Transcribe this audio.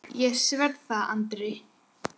Ég sver það Andri.